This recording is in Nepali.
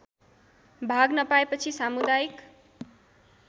भाग नपाएपछि सामुदायिक